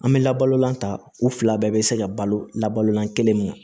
An bɛ labalolan ta u fila bɛɛ bɛ se ka balo la balolan kelen ma